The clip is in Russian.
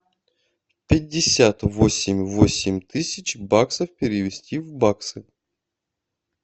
пятьдесят восемь восемь тысяч баксов перевести в баксы